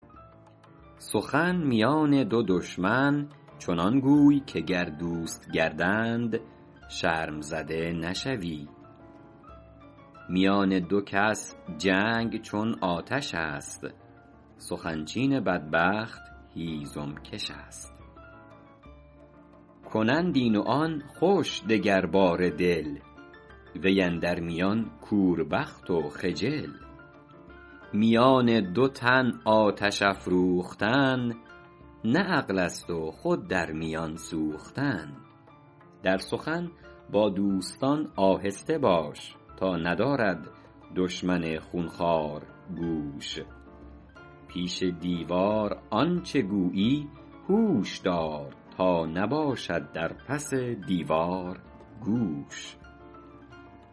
سخن میان دو دشمن چنان گوی که گر دوست گردند شرم زده نشوی میان دو کس جنگ چون آتش است سخن چین بدبخت هیزم کش است کنند این و آن خوش دگرباره دل وی اندر میان کوربخت و خجل میان دو تن آتش افروختن نه عقل است و خود در میان سوختن در سخن با دوستان آهسته باش تا ندارد دشمن خونخوار گوش پیش دیوار آنچه گویی هوش دار تا نباشد در پس دیوار گوش